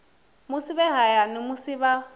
musi vhe hayani musi vha